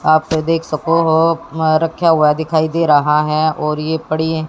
आप देख सको हो रखा हुआ दिखाई दे रहा है और ये पड़ी--